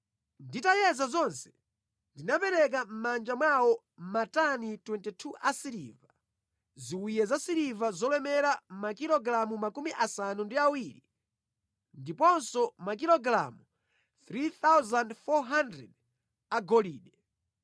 Nditayeza zonse, ndinapereka mʼmanja mwawo, matani 22 asiliva, ziwiya zasiliva zolemera makilogalamu 70, ndiponso makilogalamu 3,400 a golide,